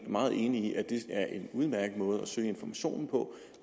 meget enig i at det er en udmærket måde at søge informationen på